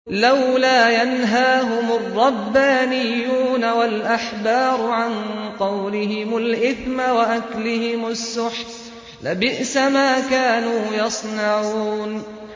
لَوْلَا يَنْهَاهُمُ الرَّبَّانِيُّونَ وَالْأَحْبَارُ عَن قَوْلِهِمُ الْإِثْمَ وَأَكْلِهِمُ السُّحْتَ ۚ لَبِئْسَ مَا كَانُوا يَصْنَعُونَ